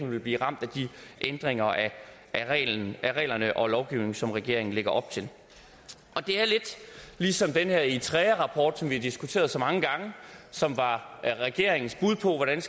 vil blive ramt af de ændringer af reglerne og lovgivningen som regeringen lægger op til det er lidt ligesom den her eritrearapport som vi har diskuteret så mange gange og som var regeringens bud på hvordan